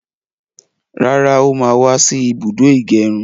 Rárá, ó má wá sí ibùdó ìgẹrun